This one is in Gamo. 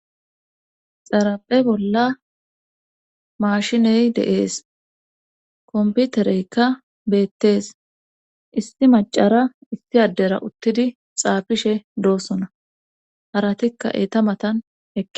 xaraphe bolla maashiney dee'es komputereykka beettees isti macara isti addera uttidi xaafishe doosona haratikka eeta matan eqida